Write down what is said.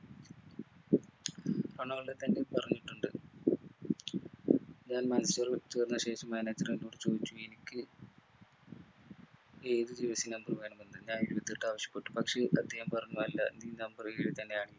Ronaldo തന്നെ പറഞ്ഞിട്ടുണ്ട് ഞാൻ മാഞ്ചസ്റ്റർ വിട്ടു വന്ന ശേഷം manager എന്നോട് ചോദിച്ചു എനിക്ക് ഏത് jersey number വേണമെന്ന് ഞാൻ ഇരുപത്തി എട്ട് ആവശ്യപ്പെട്ടു പക്ഷെ അദ്ദേഹം പറഞ്ഞു അല്ല അല്ല നി number ഏഴ് തന്നെ ആണ്